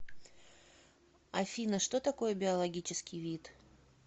афина что такое биологический вид